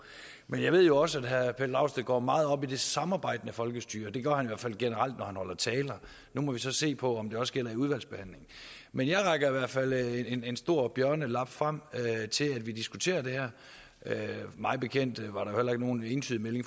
men jeg ved jo også at herre pelle dragsted går meget op i det samarbejdende folkestyre det gør han i hvert fald generelt når han holder taler nu må vi så se på om det også gælder i udvalgsbehandlingen men jeg rækker i hvert fald en stor bjørnelab frem til at vi diskuterer det her mig bekendt var der heller ikke nogen entydig melding